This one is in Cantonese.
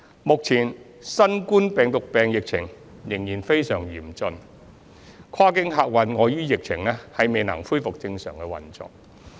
目前新型冠狀病毒病疫情仍然非常嚴峻，跨境客運礙於疫情未能恢復正常運作。